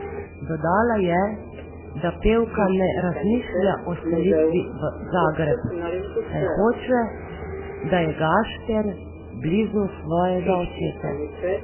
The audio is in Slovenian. Dodala je, da pevka ne razmišlja o selitvi v Zagreb, saj hoče, da je Gašper blizu svojega očeta.